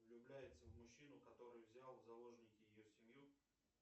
влюбляется в мужчину который взял в заложники ее семью